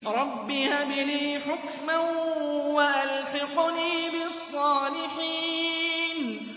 رَبِّ هَبْ لِي حُكْمًا وَأَلْحِقْنِي بِالصَّالِحِينَ